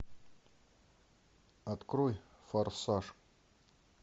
открой форсаж